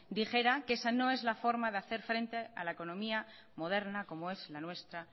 dijera que esa no es la forma de hacer frente a la economía moderna como es la nuestra